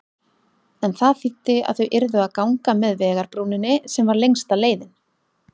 En það þýddi að þau yrðu að ganga með vegarbrúninni, sem var lengsta leiðin.